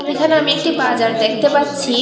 এখানে আমি একটি বাজার দেখতে পাচ্ছি।